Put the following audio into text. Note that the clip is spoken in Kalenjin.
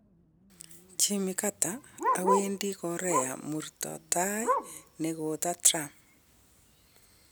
Jimmy Carter: Awendi Korea murto taii negoto Trump.